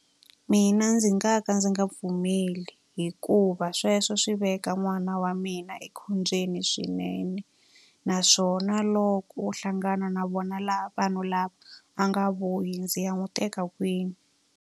Mina ndzi nga ka ndzi nga pfumeli hikuva sweswo swi veka n'wana wa mina ekhombyeni swinene. Naswona loko o hlangana na vona vanhu lava a nga vuyi, ndzi ya n'wi teka kwini?